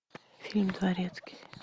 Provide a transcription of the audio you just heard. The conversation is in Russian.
фильм дворецкий